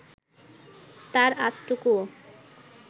তার আঁচটুকুও